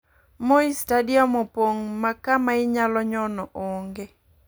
Moi stadium opong makama inyalo nyon ong'e.